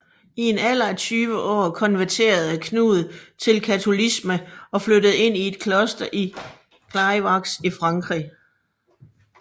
I en alder af tyve år konverterede Knud til Katolicisme og flyttede ind i et kloster i Clairvaux i Frankrig